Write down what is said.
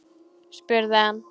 spurði hann